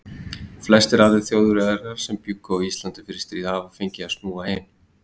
Flestir aðrir Þjóðverjar sem bjuggu á Íslandi fyrir stríð hafa fengið að snúa heim.